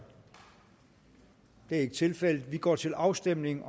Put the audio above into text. det er ikke tilfældet og vi går til afstemning